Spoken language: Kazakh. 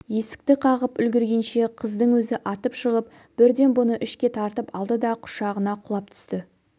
есікті қағып үлгіргенше қыздың өзі атып шығып бірден бұны ішке тартып алды да құшағына құлап түсті